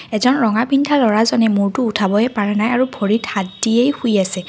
এজন ৰঙা পিন্ধা ল'ৰাজনে মূৰটো উঠাবয়ে পৰা নাই আৰু ভৰিত হাত দিয়েই শুই আছে।